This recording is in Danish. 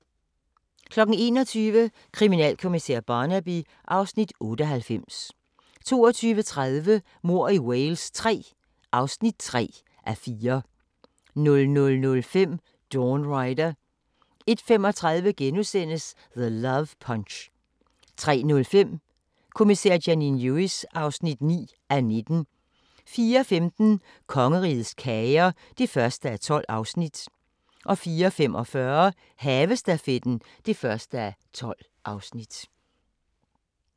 21:00: Kriminalkommissær Barnaby (Afs. 98) 22:30: Mord i Wales III (3:4) 00:05: Dawn Rider 01:35: The Love Punch * 03:05: Kommissær Janine Lewis (9:19) 04:15: Kongerigets kager (1:12) 04:45: Havestafetten (1:12)